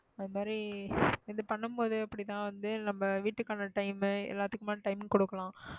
அது மாதிரி இது பண்ணும்போது அப்படி தான் வந்து நம்ம வீட்டுக்கான time உ எல்லாத்துக்குமான time கொடுக்கணும்.